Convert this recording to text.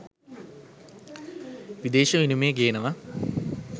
විදේශ විනිමය ගේනවා.